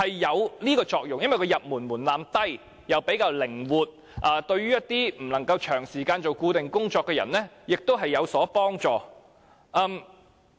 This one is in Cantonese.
因為經營攤檔的門檻低，比較靈活，對於一些不能夠長時間做固定工作的人，實在有幫助。